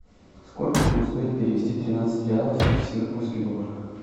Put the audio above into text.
сколько будет стоить перевести тринадцать реалов в сингапурский доллар